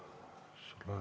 Ei?